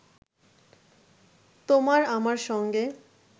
তোমার আমার সঙ্গে